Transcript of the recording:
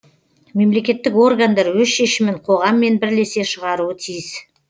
мемлекеттік органдар өз шешімін қоғаммен бірлесе шығаруы тиіс